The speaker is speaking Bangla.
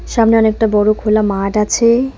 সামনে অনেকটা বড়ো খোলা মাঠ আছে।